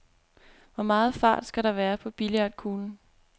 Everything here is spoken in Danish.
Hvor meget fart skal der være på billiardkuglen?